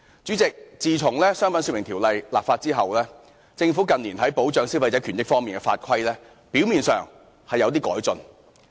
主席，自從《商品說明條例》立法後，政府近年在保障消費者權益方面的法規，表面上是有點改進。